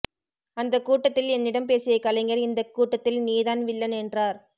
அந்த கூட்டத்தில் என்னிடம் பேசிய கலைஞர் இந்த கூட்டத்தில் நீதான் வில்லன் என்றார்